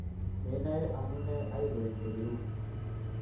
Menae amune aigoek oliu